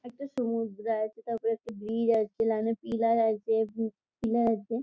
একটা সমুদ্র আছে | তারপরে একটা ব্রিজ আছে পিলার আছে। পিলার আছে।